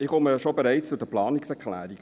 Ich komme bereits zu den Planungserklärungen.